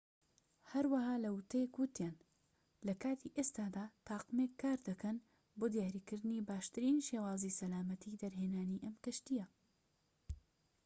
هەروەها لە ووتەیەک وتیان لە کاتی ئێستادا تاقمێک کار دەکەن بۆ دیاریکردنی باشترین شێوازی سەلامەتی دەرهێنانی ئەم کەشتیە